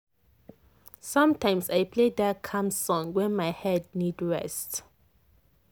sometimes i play that calm song when my head need rest."